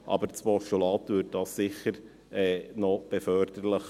Doch das Postulat wäre für die Behandlung sicher förderlich.